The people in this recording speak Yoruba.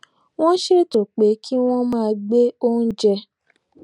wón ṣètò pé kí wón máa gbé oúnjẹ